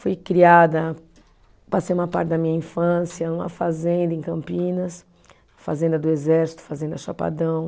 Fui criada, passei uma parte da minha infância em uma fazenda em Campinas, fazenda do Exército, fazenda Chapadão.